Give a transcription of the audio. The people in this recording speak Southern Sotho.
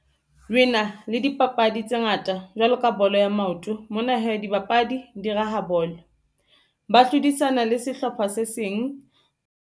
Re na le dipapadi tse ngata jwalo ka bolo ya maoto mona hee, dibapadi di raha bolo ba hlodisana le sehlopha se seng.